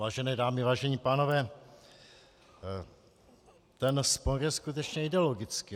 Vážené dámy, vážení pánové, ten spor je skutečně ideologický.